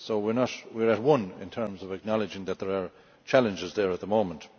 So we are as one in terms of acknowledging that there are challenges in that area at the moment.